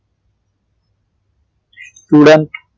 Student